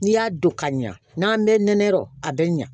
N'i y'a don ka ɲa n'an bɛ nɛnɛ yɔrɔ a bɛ ɲa